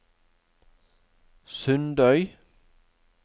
Sundøy